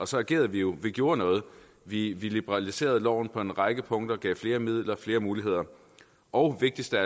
så agerede vi jo vi gjorde noget vi vi liberaliserede loven på en række punkter gav flere midler flere muligheder og vigtigst af